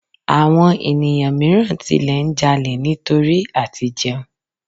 Àwọn ènìyàn míràn tilẹ̀ n ja'lè nítorí à ti jẹun